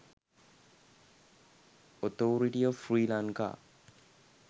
authority of sri lanka